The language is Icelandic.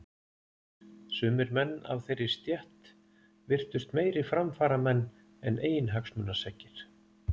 Sumir menn af þeirri stétt virtust meiri framfaramenn en eiginhagsmunaseggir.